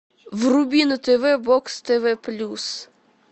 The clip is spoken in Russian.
вруби на тв бокс тв плюс